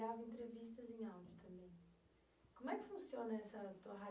grava entrevistas em também. Como é que funciona essa tua